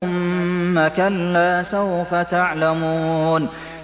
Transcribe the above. ثُمَّ كَلَّا سَوْفَ تَعْلَمُونَ